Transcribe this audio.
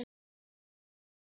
Hvað má bjóða ykkur?